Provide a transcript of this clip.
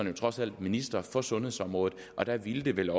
jo trods alt minister for sundhedsområdet og det ville vel